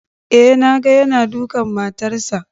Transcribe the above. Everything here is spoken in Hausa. Eh na ga yana dukan matarsa